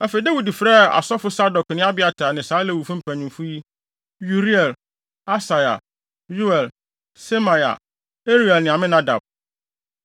Afei, Dawid frɛɛ asɔfo Sadok ne Abiatar ne saa Lewifo mpanyimfo yi: Uriel, Asaia, Yoel, Semaia, Eliel ne Aminadab.